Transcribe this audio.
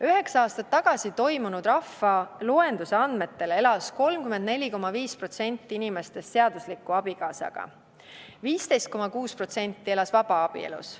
Üheksa aastat tagasi toimunud rahvaloenduse andmetel elas 34,5% inimestest seadusliku abikaasaga, 15,6% elas vabaabielus.